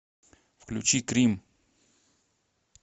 включи крим